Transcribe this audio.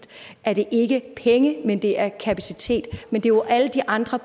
er det ikke penge men det er kapacitet men det er jo alle de andre